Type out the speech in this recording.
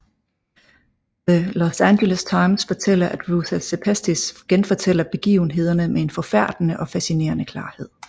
The Los Angeles Times skriver at Ruta Sepetys genfortæller begivenhederne med en forfærdende og fascinerende klarhed